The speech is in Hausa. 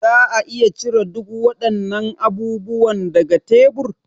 Za a iya cire duk waɗannan abubuwan daga tebur?